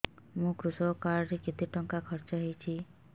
ମୋ କୃଷକ କାର୍ଡ ରେ କେତେ ଟଙ୍କା ଖର୍ଚ୍ଚ ହେଇଚି